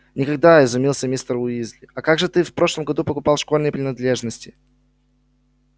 никогда изумился мистер уизли а как же ты в прошлом году покупал школьные принадлежности